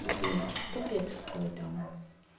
блин капец какой-то